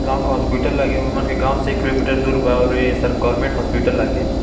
गाँव का हॉस्पिटल लगे और हमन के गाँव से एक किलोमीटर दूर बा और ये सब गवर्नमेंट हॉस्पिटल लागे।